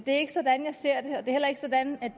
er ikke sådan jeg ser det det er heller ikke sådan